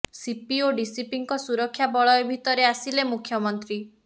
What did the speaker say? CP ଓ ଡିସିପିଙ୍କ ସୁରକ୍ଷା ବଳୟ ଭିତରେ ଆସିଲେ ମୁଖ୍ୟମନ୍ତ୍ରୀ